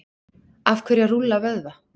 af hverju að rúlla vöðva